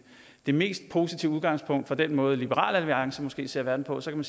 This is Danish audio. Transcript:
det mest positive udgangspunkt i den måde liberal alliance måske ser verden på så kan